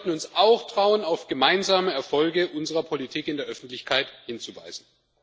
Aber wir sollten uns auch trauen, auf gemeinsame Erfolge unserer Politik in der Öffentlichkeit hinzuweisen.